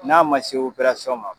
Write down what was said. N'a ma se ma